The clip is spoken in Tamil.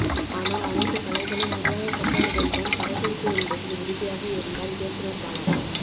ஆனால் அனைத்து கலைகளும் முறையாக கற்றவுடன் தான் படப்பிடிப்பு என்பதில் உறுதியாக இருந்தார் இயக்குநர் பாலா